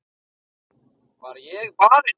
Var ég barinn?